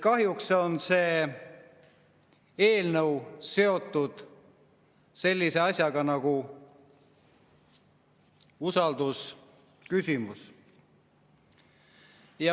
Kahjuks on see eelnõu seotud sellise asjaga nagu usaldusküsimus.